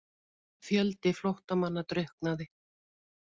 Fjöldi flóttamanna drukknaði